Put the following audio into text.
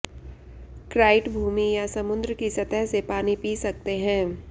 क्राइट भूमि या समुद्र की सतह से पानी पी सकते हैं